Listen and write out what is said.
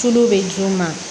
Tulu bɛ d'u ma